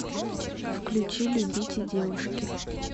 включи любите девушки